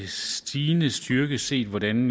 stigende styrke set hvordan